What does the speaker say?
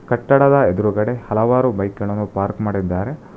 ಕಟ್ಟಡದ ಎದ್ರುಗಡೆ ಹಲವಾರು ಬೈಕ್ ಗಳನ್ನು ಪಾರ್ಕ್ ಮಾಡಿದ್ದಾರೆ.